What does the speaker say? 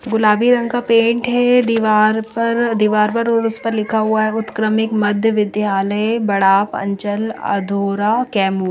गुलाबी रंग का पेंट है दीवार पर दीवार पर और उस पर लिखा हुआ है उत्क्रमित मध्य विद्यालय बड़ा पांचल अधूरा कैमूर--